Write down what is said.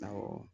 Awɔ